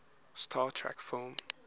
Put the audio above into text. star trek film